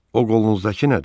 O qolunuzdakı nədir?